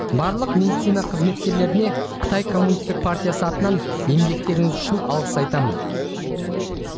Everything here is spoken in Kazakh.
барлық медицина қызметкерлеріне қытай коммунистік партиясы атынан еңбектеріңіз үшін алғыс айтамын